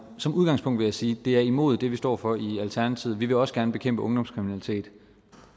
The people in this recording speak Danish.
som udgangspunkt vil jeg sige det er imod det vi står for i alternativet vi vil også gerne bekæmpe ungdomskriminalitet